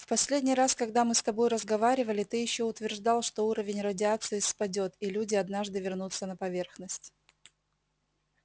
в последний раз когда мы с тобой разговаривали ты ещё утверждал что уровень радиации спадёт и люди однажды вернутся на поверхность